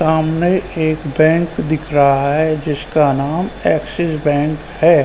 सामने एक बैंक दिख रहा है जिस का नाम एक्सिस बैंक है।